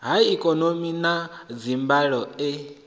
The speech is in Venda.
ha eekihironiki na dzimbandelo e